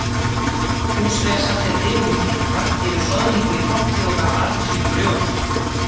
Húsfreyja sat fyrir dyrum úti, vakti yfir soðningu í potti og gaf barni sínu brjóst.